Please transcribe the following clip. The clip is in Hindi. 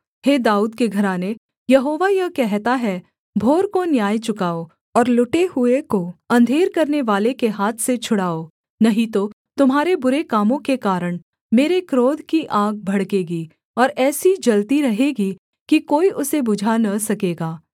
हे दाऊद के घराने यहोवा यह कहता है भोर को न्याय चुकाओ और लुटे हुए को अंधेर करनेवाले के हाथ से छुड़ाओ नहीं तो तुम्हारे बुरे कामों के कारण मेरे क्रोध की आग भड़केगी और ऐसी जलती रहेगी कि कोई उसे बुझा न सकेगा